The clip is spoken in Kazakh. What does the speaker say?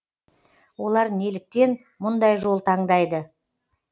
олар неліктен мұндай жол таңдайды